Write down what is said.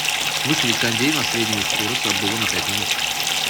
выставить кондей на среднюю скорость обдува на пять минут